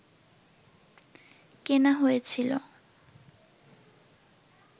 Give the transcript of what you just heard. কেনা হয়েছিল